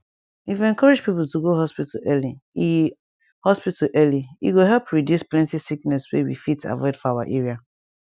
if we encourage people to go hospital early e hospital early e go help reduce plenty sickness wey we fit avoid for our area